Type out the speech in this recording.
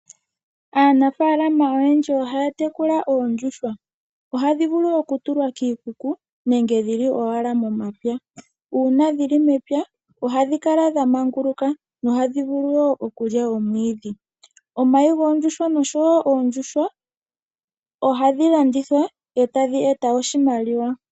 Aanafaalama oyendji ohaya tekula oondjuhwa, ohadhi vulu oku tulwa kiikuku nenge dhili owala momapya. Uuna dhili mepya, ohadhi kala dha manguluka, dho ohadhi vulu wo okulya omwiidhi. Omayi goondjuhwa noshowo oondjuhwa ohadhi landithwa e tadhi e ta oshimaliwa.